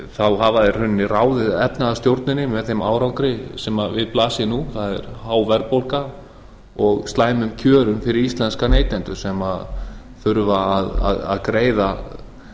þá hafa þeir í rauninni ráðið efnahagsstjórninni með þeim árangri sem við blasir nú það er há verðbólga og slæmum kjörum fyrir íslenska neytendur sem þurfa að